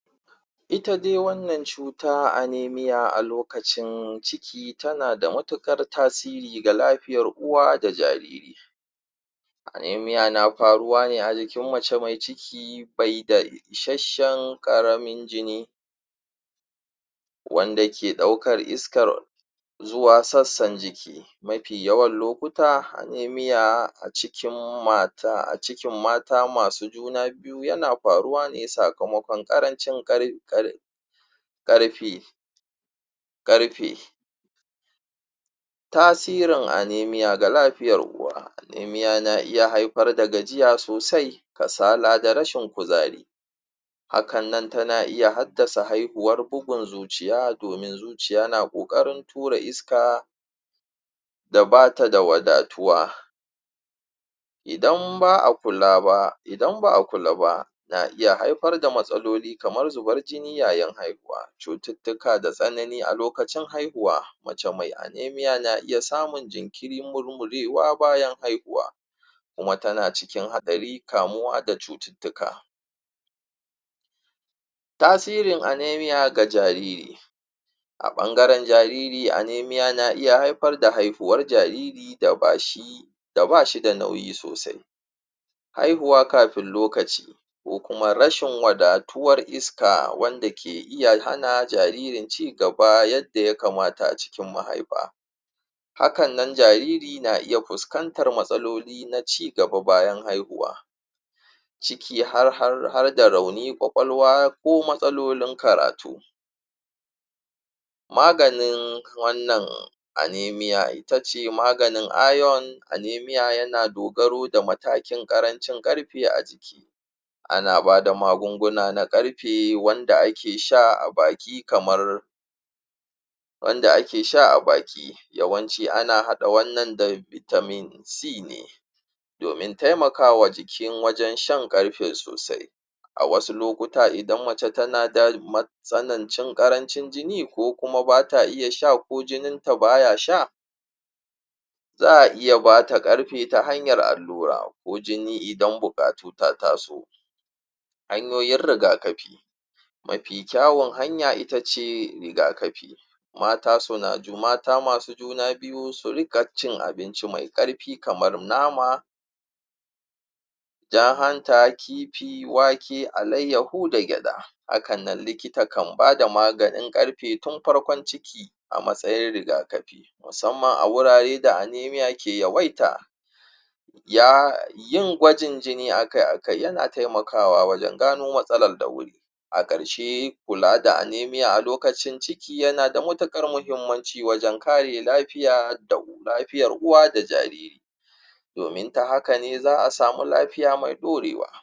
ita dai wannan cuta anemia a lokacin ciki tana mutuƙar tasiri ga lafiyar uwa da jariri amenia na faruwa ne a jikin mace mai ciki be da ishasshan ƙaramin jini wanda ke ɗaukar iskar zuwa sassan jiki mafi yawan lokuta anemia a cikin mata masu juna biyu yana faruwa ne sakamoƙon ƙarancin ƙarfi tasirin anemia ga lafiyar uwa anemia na iya haifar da gajiya sosai kasala da rashin kuzari hakan nan tana iya haddasa haihuwar bugun zuciya domin zuciya na ƙoƙarin tura iska da bata da wada tuwa idan ba a kula ba na iya haifar da matsaloli kamar zubar jini yayin haihuwa cututtuka da tsanani a lokacin haihuwa mace mai anemia na iya samun jinkiri murmurewa bayan haihuwa kuma tana cikin haɗari kamuwa da cututtuka tasirin anemia ga jariri a ɓangaran jariri anemia na iya haifar da haihuwar jariri da bashi da bashida nauyi sosai haihuwa kafin lokaci ko kuma rashin wadatuwar iska wanda ke iya hana jaririn cigaba yanda ya kamata a cikin mahaifa hakan nan jariri na iya fuskantar matsaloli na cigaba bayan haihuwa ciki harda rauni ƙwaƙwalwa ko matsalolin karatu maganin wannan anemia itace maganin iron anemia yana dogaro da matakin ƙarancin ƙarfe a jiki ana bada magunguna na ƙarfe wanda ake sha a baki kamar wanda ake sha a baki wayanci ana haɗa wannan da vitamin c ne domin taimakawa jikin wajan shan ƙarfe sosai a wasu lokuta idan mace tana da matsanancin ƙarancin jini ko kuma bata iya sha ko jininta baya sha za a iya bata ƙarfe ta hanyar allura ko jini idan buƙatu ta taso hanyoyin riga kafi mafi ƙyawun hanya itace riga kafi mata masu juna biyu su riƙa cin abinci me ƙarfi kamar nama jar hanta kifi wake alayyahu da gyaɗa hakanan likita kan bada maganin ƙarfe tun farkon ciki a matsayin riga kafi musamman a wurare da amenia ke yawaita yin gwajin jini akai akai yana taimakawa wajan gano matsalal da wuri a karshe kula da anemia a lokacin ciki yana da matuƙar mahimmanci wajan kare lafiya lafiyar uwa da jariri domin ta hakane za a samu lafiya mai ɗurewa